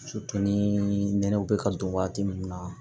ni nɛnɛw bɛ ka don waati min na